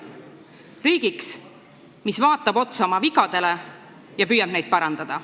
Riigi, mis vaatab otsa oma vigadele ja püüab neid parandada.